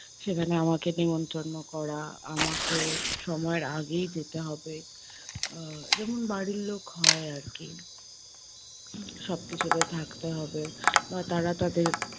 সেখানে আমাকে নিমন্ত্রন্য করা, আমাকে সময়ের আগেই যেতে হবে, আহ যেমন বাড়ির লোক হয় আরকি। সব কিছুতে থাকতে হবে বা তারা তাদের